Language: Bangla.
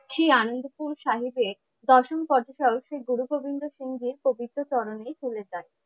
শ্রী আনন্দপুর সাহেবের দশম শ্রী গুরু গোবিন্দ সিংজির পবিত্র চরণে চলে যায়।